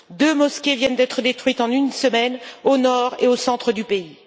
Deux mosquées viennent d'être détruites en une semaine, au nord et au centre du pays.